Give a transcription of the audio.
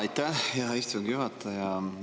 Aitäh, hea istungi juhataja!